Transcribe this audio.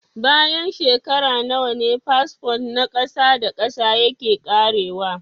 Bayan shekaru nawa ne fasfo na ƙasa da ƙasa yake ƙarewa?